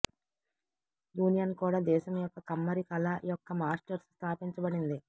union కూడా దేశం యొక్క కమ్మరి కళ యొక్క మాస్టర్స్ స్థాపించబడింది